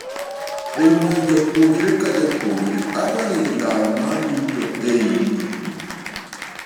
Ewii japuonjre ka japuonjre average lal mar yuto ei higni.